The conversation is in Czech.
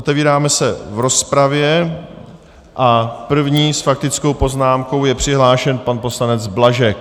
Otevíráme se v rozpravě a první s faktickou poznámkou je přihlášen pan poslanec Blažek.